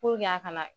Puruke a kana